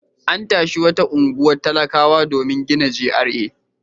An tashi wata unguwar talakawa domin gina GRA.